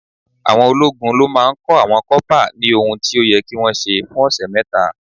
Àwọn ológun ló máa ń kọ́ àwọn kọ́pà ní ohun tí ó yẹ kí wọ́n ṣe fún ọ̀sẹ̀ mẹ́ta.